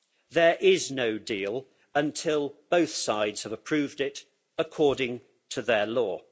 There is no deal until both sides have approved it according to their law.